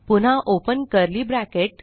पुन्हा open curly bracket